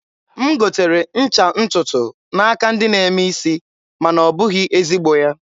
m gotere ncha ntụtụ n'aka ndị na-eme isi, ma na ọ bụghị ezigbo ya.